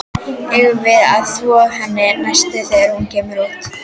Eigum við að þvo henni næst þegar hún kemur út?